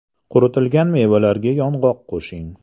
Quritilgan mevalarga yong‘oq qo‘shing.